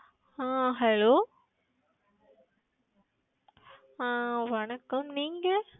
ஆஹ் Hello ஆஹ் வணக்கம் நீங்கள்?